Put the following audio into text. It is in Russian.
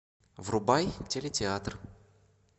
врубай телетеатр